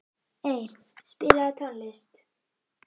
Eir, spilaðu tónlist.